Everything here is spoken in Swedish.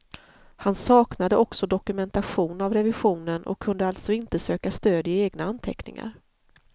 Han saknade också dokumentation av revisionen och kunde alltså inte söka stöd i egna anteckningar.